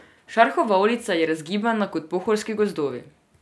Šarhova ulica je razgibana kot pohorski gozdovi.